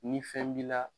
Ni fɛn b'i la